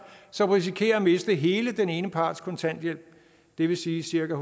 som risikerer at miste hele den ene parts kontanthjælp det vil sige cirka